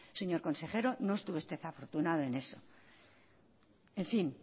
señor consejero no estuvo usted afortunado en eso en fin